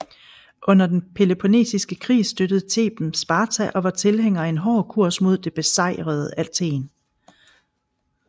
Under den Peloponnesiske Krig støttede Theben Sparta og var tilhænger af en hård kurs mod det besejrede Athen